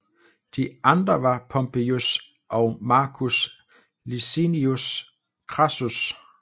De andre var Pompejus og Marcus Licinius Crassus